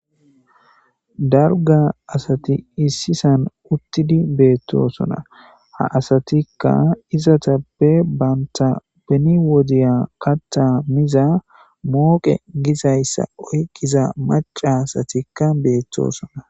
Dalga asati issi sahan utidi betosona ha asatika izatape banita beni wodiya katha miza moqe gizaysa oyqiza mac'a asatika betosona.